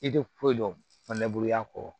I tɛ foyi dɔn neguru ya kɔ